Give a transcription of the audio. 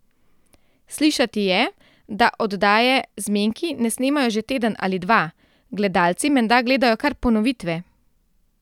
Slišati je, da oddaje Zmenki ne snemajo že teden ali dva, gledalci menda gledajo kar ponovitve.